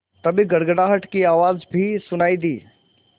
तभी गड़गड़ाहट की आवाज़ भी सुनाई दी